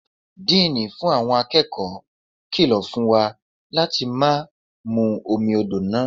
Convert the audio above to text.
Díínì fún àwọn akẹ́kọ̀ọ́ kìlọ̀ fún wa láti má mú omi odò náà.